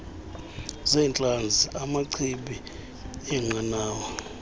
zeentlanzi amachibi eenqanawa